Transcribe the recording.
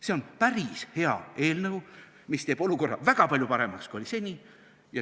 See on päris hea eelnõu, mis teeb olukorra väga palju paremaks, kui oli seni.